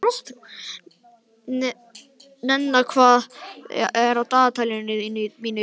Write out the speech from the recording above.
Nenna, hvað er á dagatalinu mínu í dag?